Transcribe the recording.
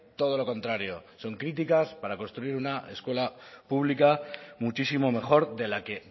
todo lo contrario son críticas para construir una escuela pública muchísimo mejor de la que